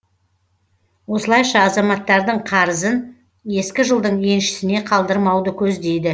осылайша азаматтардың қарызын ескі жылдың еншісіне қалдырмауды көздейді